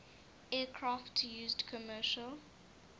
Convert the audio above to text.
aircraft used commercial